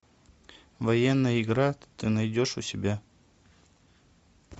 военная игра ты найдешь у себя